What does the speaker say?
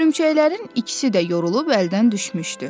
Hörümçəklərin ikisi də yorulub əldən düşmüşdü.